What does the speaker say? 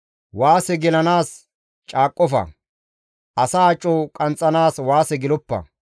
Waase gelanaas caaqqofa; asa aco qanxxanaas waase geloppa.